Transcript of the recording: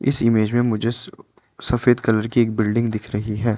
इस इमेज मे मुझे स सफेद कलर की एक बिल्डिंग दिख रही है।